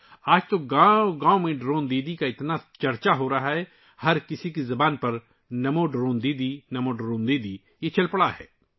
آج تو گاؤں گاؤں میں ڈرون دیدی کا اتنا چرچا ہے، ہر کسی کی زبان پر نمو ڈرون دیدی، نمو ڈرون دیدی چل پڑا ہے